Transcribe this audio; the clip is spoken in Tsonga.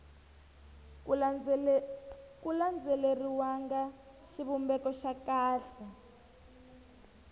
ku landzeleriwanga xivumbeko xa kahle